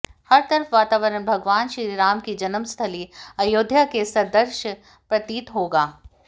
हर तरफ वातावरण भगवान श्रीराम की जन्मस्थली अयोध्या के सदृश्य प्रतीत होगा